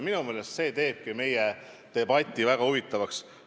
Minu meelest see teeb meie debati väga huvitavaks.